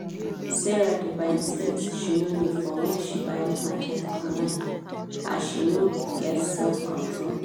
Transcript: sarah dey buy tins she no need for when she buy market online as she no get self control.